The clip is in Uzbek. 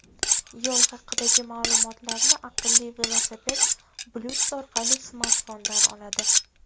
Yo‘l haqidagi ma’lumotlarni aqlli velosiped Bluetooth orqali smartfondan oladi.